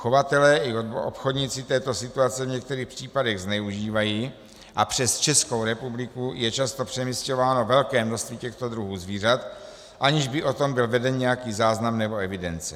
Chovatelé i obchodníci této situace v některých případech zneužívají a přes Českou republiku je často přemisťováno velké množství těchto druhů zvířat, aniž by o tom byl veden nějaký záznam nebo evidence.